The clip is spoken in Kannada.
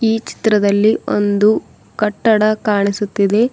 ಈ ಚಿತ್ರದಲ್ಲಿ ಒಂದು ಕಟ್ಟಡ ಕಾಣಿಸುತ್ತಿದೆ.